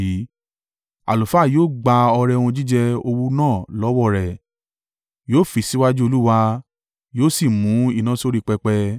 Àlùfáà yóò gba ọrẹ ohun jíjẹ owú náà lọ́wọ́ rẹ̀, yóò fì í síwájú Olúwa, yóò sì mú iná sórí pẹpẹ.